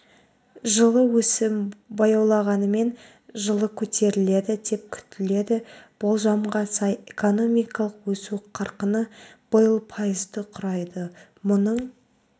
жылы өсім баялауғанымен жылы көтеріледі деп күтіледі болжамға сай экономикалық өсу қарқыны биыл пайызды құрайды мұның